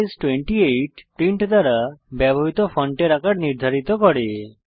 font size 28 print দ্বারা ব্যবহৃত ফন্টের আকার নির্ধারিত করে